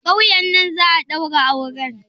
A ƙauyen nan za'a ɗaura auren?